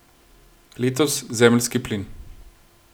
Letos zemeljski plin.